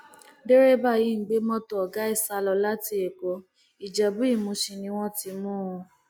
derébà yìí ń gbé mọtò ọgá ẹ sá lọ láti ẹkọ ìjẹbúìmùsìn ni wọn ti mú un